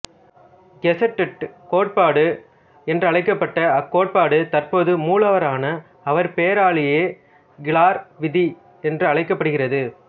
செக்சுடெட் கோட்பாடு என்றழைக்கப்பட்ட அக்கோட்பாடு தற்போது மூலவரான அவர் பெயராலாயே கிளார் விதி என்று அழைக்கப்படுகிறது